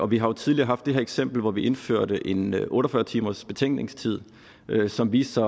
vi har jo tidligere haft det her eksempel hvor vi indførte en otte og fyrre timersbetænkningstid som viste